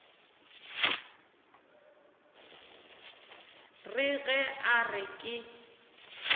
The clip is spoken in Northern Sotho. re ge a re ke